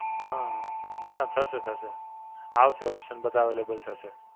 હાં, નાં નાં થશે થશે. આવશે option બધાં Available થશે.